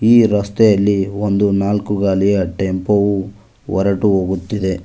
ಈ ರಸ್ತೆಯಲ್ಲಿ ಒಂದು ನಾಲ್ಕು ಗಾಲಿಯ ಟೆಂಪೋ ವೂ ಹೊರಟು ಹೋಗುತ್ತಿದೆ.